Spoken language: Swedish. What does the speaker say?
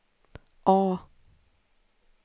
A